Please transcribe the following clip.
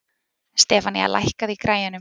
Stefanía, lækkaðu í græjunum.